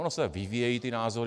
Ony se vyvíjejí ty názory.